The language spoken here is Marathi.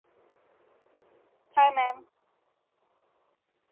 हाय मॅम